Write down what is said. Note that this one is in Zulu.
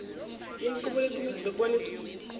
yenqubo yekomiti lokubonisa